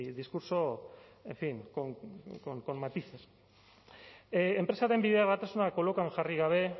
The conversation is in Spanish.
discurso en fin con matices enpresaren bideragarritasuna kolokan jarri gabe